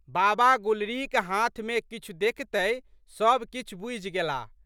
बाबा गुलरीक हाथमे किछु देखितहि सब किछु बूझि गेलाह।